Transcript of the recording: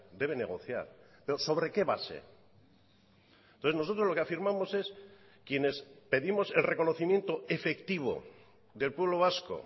debe negociar pero sobre qué base entonces nosotros lo que afirmamos es quienes pedimos el reconocimiento efectivo del pueblo vasco